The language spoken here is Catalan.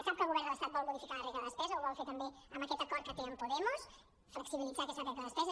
sap que el govern de l’estat vol modificar la regla de despesa ho vol fer també amb aquest acord que té amb podemos flexibilitzar aquesta regla de despesa